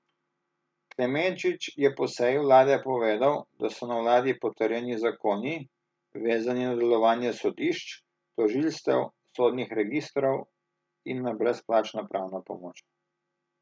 Klemenčič je po seji vlade povedal, da so na vladi potrjeni zakoni, vezani na delovanje sodišč, tožilstev, sodnih registrov in na brezplačno pravno pomoč.